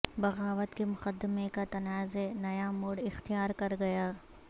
بغاوت کے مقدمے کا تنازع نیا موڑ اختیار کرگیا